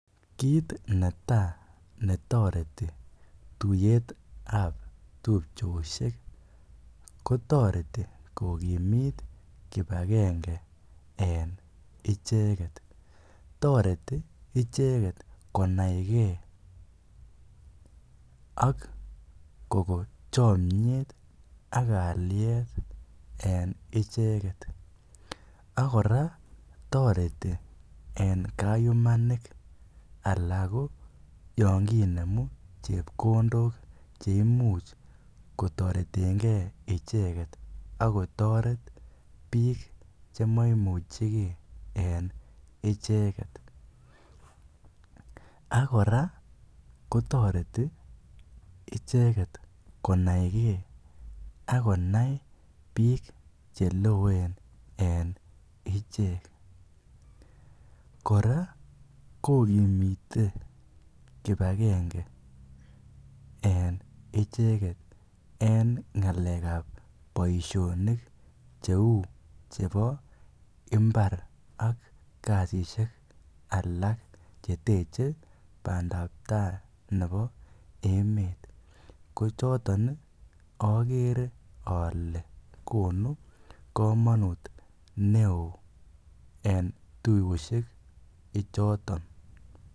Kiit netaa netoreti tuyetab tupchoshek ko toreti kokimit kibakenge en icheket, toreti icheket konaike ak kokoo chomnyet ak kaliet en icheket, ak kora toreti en kayumanik alaa ko yoon kinemu chepkondok cheimuch kotoretenge icheket ak kotoret biik chemoimucheke en icheket, ak kora kotoreti icheket konaike ak konain biik cheloen en ichek, kora kokimite kibakenge en icheket en ngalekab boishonik cheu chebo imbar ak kasishek alak cheteche bandab taai nebo emet, ko choton okeree olee konu komonut neoo en tuyoshek ichoton.